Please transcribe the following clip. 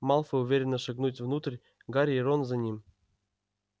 малфой уверенно шагнуть внутрь гарри и рон за ним